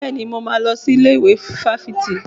Bẹ́ẹ̀ni, mo máa lọ sí ilé ìwé fáfitì.